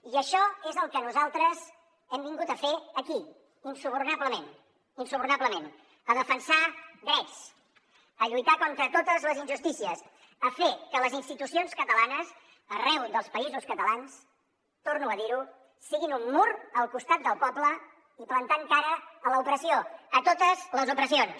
i això és el que nosaltres hem vingut a fer aquí insubornablement insubornablement a defensar drets a lluitar contra totes les injustícies a fer que les institucions catalanes arreu dels països catalans torno a dir ho siguin un mur al costat del poble i plantant cara a l’opressió a totes les opressions